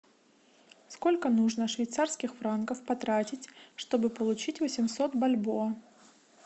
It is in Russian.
сколько нужно швейцарских франков потратить чтобы получить восемьсот бальбоа